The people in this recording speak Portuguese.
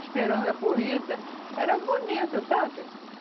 esperando a corrida, era bonita, sabe?